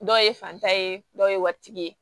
Dɔw ye fanta ye dɔw ye waritigi ye